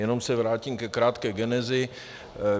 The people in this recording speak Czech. Jenom se vrátím ke krátké genezi.